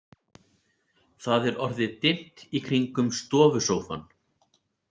Það er orðið dimmt í kringum stofusófann.